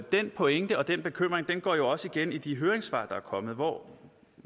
den pointe og den bekymring går jo også igen i de høringssvar der er kommet hvor